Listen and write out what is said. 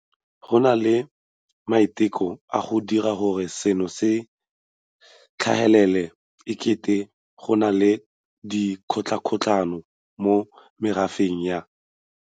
Go na le maiteko a go dira gore seno se tlhagelele e kete go na le dikgogakgogano mo merafeng ya.